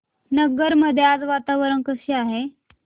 नगर मध्ये आज वातावरण कसे आहे